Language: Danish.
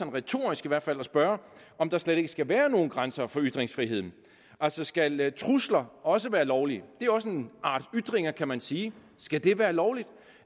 retorisk i hvert fald ved at spørge om der slet ikke skal være nogen grænser for ytringsfriheden altså skal trusler også være lovlige det er også en art ytringer kan man sige skal det være lovligt